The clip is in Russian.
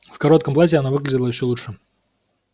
в коротком платье она выглядела ещё лучше